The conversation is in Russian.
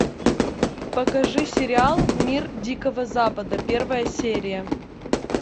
покажи сериал мир дикого запада первая серия